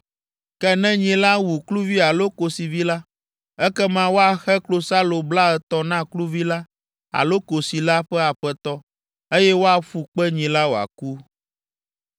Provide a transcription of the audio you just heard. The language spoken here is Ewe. Ke ne nyi la wu kluvi alo kosivi la, ekema woaxe klosalo blaetɔ̃ na kluvi la alo kosi la ƒe aƒetɔ, eye woaƒu kpe nyi la wòaku.